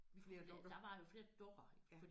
Flere dukker ja